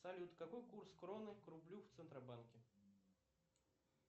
салют какой курс кроны к рублю в центробанке